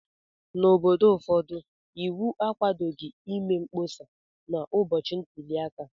N'obodo ụfọdụ, iwu akwadoghị ịme mkpọsa n'ụbọchị ntuli aka.